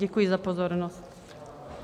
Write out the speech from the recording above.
Děkuji za pozornost.